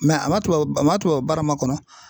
a ma tubabu a ma tubabu baara makɔnɔ